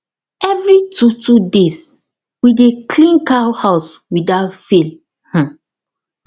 every two two days we dey clean cow house without fail um